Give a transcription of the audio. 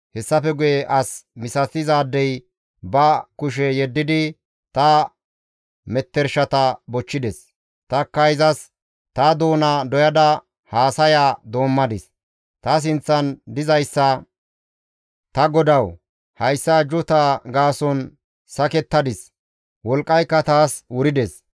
Hessafe guye as misatizaadey ba kushe yeddidi ta mettershata bochchides; tanikka izas, ta doona doyada haasaya doommadis; ta sinththan dizayssa, «Ta Godawu! Hayssa ajjuuta gaason ta sakettadis; wolqqayka taas wurides.